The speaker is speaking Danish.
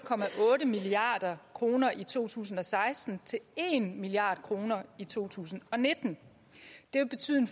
milliard kroner i to tusind og seksten til en milliard kroner i to tusind og nitten det vil betyde en